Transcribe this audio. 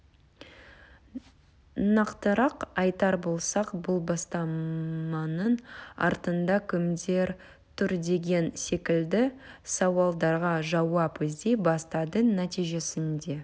нақтырақ айтар болсақ бұл бастаманың артында кімдер тұр деген секілді сауалдарға жауап іздей бастады нәтижесінде